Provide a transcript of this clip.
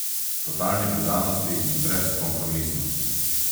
Totalni predanosti in brezkompromisnosti.